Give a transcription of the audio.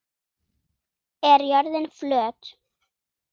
Er jörðin flöt?